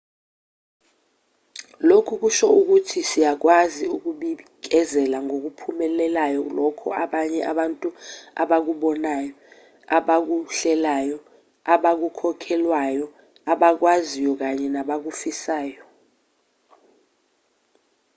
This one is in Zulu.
lokhu kusho ukuthi siyakwazi ukubikezela ngokuphumelelayo lokho abanye abantu abakubonayo abakuhlelayo abakukholelwayo abakwaziyo kanye nabakufisayo